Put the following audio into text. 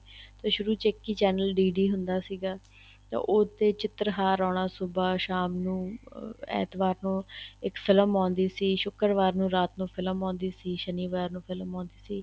ਸ਼ੁਰੂ ਚ ਇੱਕ ਹੀ channel D D ਹੁੰਦਾ ਸੀਗਾ ਤਾਂ ਉੱਥੇ ਚਿੱਤਰਹਾਰ ਆਉਣਾ ਸੁਭਾ ਸ਼ਾਮ ਨੂੰ ਐਤਵਾਰ ਨੂੰ ਇੱਕ ਫ਼ਿਲਮ ਆਉਦੀ ਸੀ ਸ਼ੁਕਰਵਾਰ ਨੂੰ ਰਾਤ ਨੂੰ ਫ਼ਿਲਮ ਆਉਦੀ ਸੀ ਸ਼ਨੀਵਾਰ ਨੂੰ ਫ਼ਿਲਮ ਆਉਦੀ ਸੀ